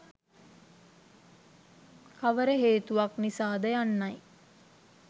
කවර හේතුවක් නිසා ද යන්නයි